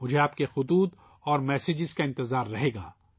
مجھے آپ کے خط اور میسیج کا انتظار رہے گا